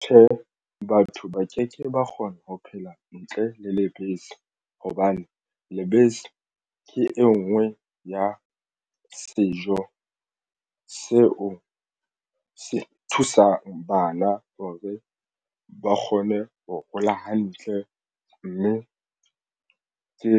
Tjhe, batho ba keke ba kgona ho phela ntle le lebese hobane lebese ke e nngwe ya sejo seo se thusang bana hore ba kgone ho hola hantle mme ke